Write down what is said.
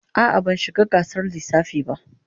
A'a, ban shiga gasar lissafi ba.